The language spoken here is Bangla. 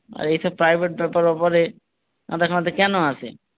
আর এইসব private ব্যাপারে মাথা ঘামাতে কোনো আসে।